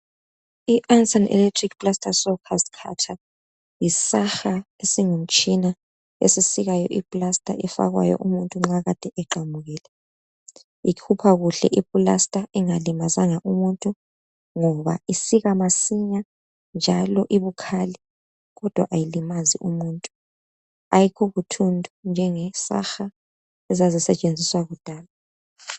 I-Ansen electric plaster sawcast cutter, yi saha esingumtshina, esisikayo i-plaster efakwayo umuntu nxa ekade eqamukile. Ikhupha kuhle i-plaster ingalimazanga umuntu, ngoba isika masinya, njalo ibukhali, kodwa ayilimazi umuntu, ayikho buthundu njenge saha ezazisetshenziswa kudala.